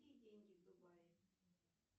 какие деньги в дубае